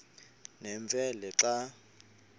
nemfe le xa